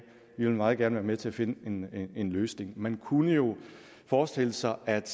vi vil meget gerne være med til at finde en løsning man kunne jo forestille sig at